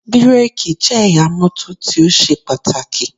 Bíkèkì jẹ́ ẹ̀yà mọ́tò tí ó ṣe pàtàkì